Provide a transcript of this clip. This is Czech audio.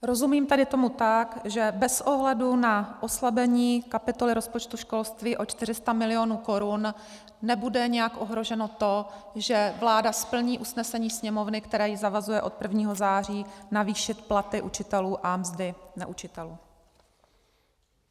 Rozumím tady tomu tak, že bez ohledu na oslabení kapitoly rozpočtu školství o 400 milionů korun nebude nějak ohroženo to, že vláda splní usnesení Sněmovny, které ji zavazuje od 1. září navýšit platy učitelů a mzdy neučitelů.